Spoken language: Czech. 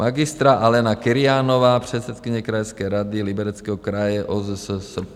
Magistra Alena Kyrianová, předsedkyně krajské rady Libereckého kraje OSZSP.